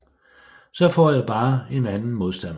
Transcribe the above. Så får jeg bare en anden modstander